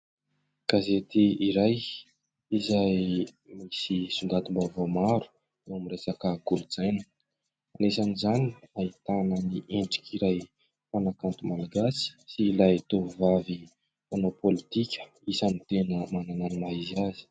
Gazety iray izay misy songadim-bavaovao maro eo amin' ny resaka kolontsaina anisany izany ahitana ny endrik' iray mpanakanto malagasy sy ilay tovovavy mpanao politika isany tena manana ny maha izy azy.